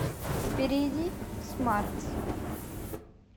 перейди в смартс